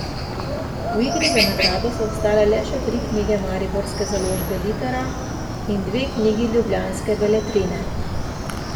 V igri za nagrado so ostale le še tri knjige mariborske založbe Litera in dve knjigi ljubljanske Beletrine.